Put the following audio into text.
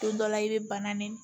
Don dɔ la i bɛ banan ni